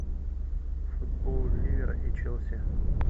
футбол ливера и челси